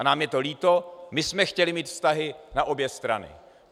A nám je to líto, my jsme chtěli mít vztahy na obě strany.